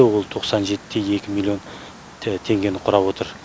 ол тоқсан жетіде екі миллион теңгені құрап отыр